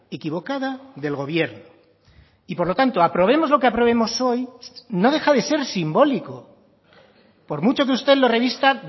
equivocada del gobierno y por lo tanto aprobemos lo que aprobemos hoy no deja de ser simbólico por mucho que usted lo revista